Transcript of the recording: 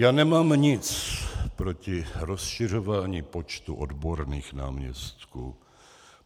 Já nemám nic proti rozšiřování počtu odborných náměstků.